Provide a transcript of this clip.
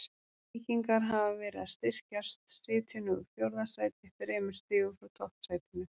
Víkingar hafa verið að styrkjast, sitja nú í fjórða sæti þremur stigum frá toppsætinu.